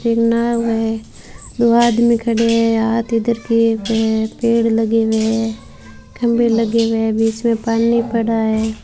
ये नाव है दो आदमी खड़े हैं हाथ इधर किए हुए हैं पेड़ लगे हुए हैं खंभे लगे हुए हैं बीच में पानी पड़ा है।